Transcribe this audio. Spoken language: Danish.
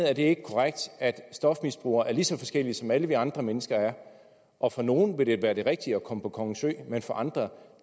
er det ikke korrekt at stofmisbrugere er lige så forskellige som alle vi andre mennesker er og for nogle vil det være det rigtige at komme på kongens ø men for andre